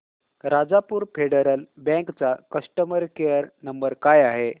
Rajapur Federal Bank चा customer care number काय आहे